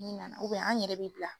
Ni nana an yɛrɛ bi bila